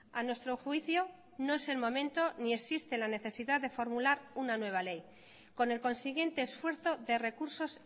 a nuestro juicio no es el momento ni existe la necesidad de formular una nueva ley con el consiguiente esfuerzo de recursos